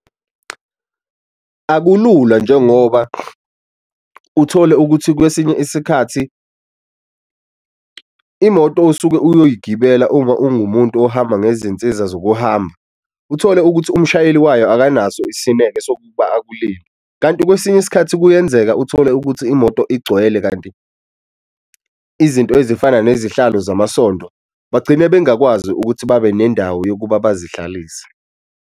Akulula njengoba uthole ukuthi kwesinye isikhathi imoto osuke oyoyigibelela uma ungumuntu ohamba ngezinsiza zokuhamba, uthole ukuthi umshayeli wayo akanaso isineke sokuba akulinde kanti kwesinye isikhathi kuyenzeka uthole ukuthi imoto igcwele. Kanti izinto ezifana nezihlalo zamasondo bagcine bengakwazi ukuthi babe nendawo yokuba bazihlalise.